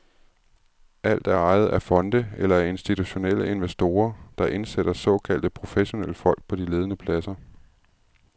Alt er ejet af fonde eller af institutionelle investorer, der indsætter såkaldte professionelle folk på de ledende pladser.